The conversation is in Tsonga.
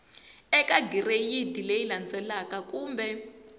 eka gireyidi leyi landzelaka kumbe